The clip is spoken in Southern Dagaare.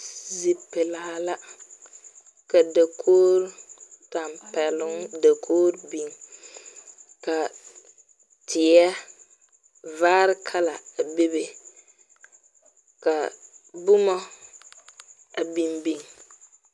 Zi pulaa la. Ka dakogre, tampɛluŋ dakogre biŋ. Ka teɛ vaare kala a bebe. Ka boma a biŋbiŋ.